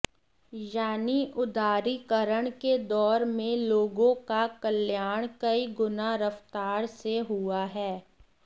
यानी उदारीकरण के दौर में लोगों का कल्याण कई गुना रफ़्तार से हुआ है